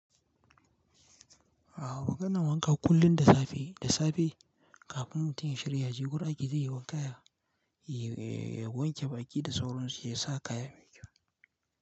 Awa maganan wanka kullum da safe, da safe kafin mutum ya shirya ya je gurun aiki ya je yayi wanka ya, ya wanke baki da sauransu ya sa kaya ya yi kyau.